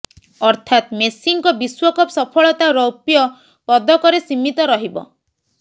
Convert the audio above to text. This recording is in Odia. ଅର୍ଥାତ୍ ମେସିଙ୍କ ବିଶ୍ୱକପ୍ ସଫଳତା ରୌପ୍ୟ ପଦକରେ ସୀମିତ ରହିବ